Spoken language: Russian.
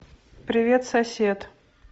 привет сосед